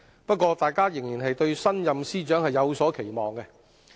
不過，大家仍然對新任司長有所期望。